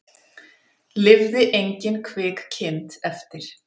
Lifði engin kvik kind eftir